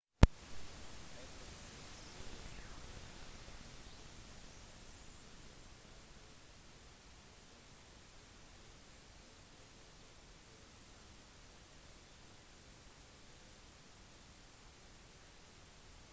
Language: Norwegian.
atten hull spilles på en vanlig runde og spillere starter som oftest på det første hullet på banen og avslutter på det attende